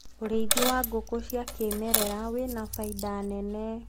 urithi wa ngũkũ cia kĩmerera wina baida nene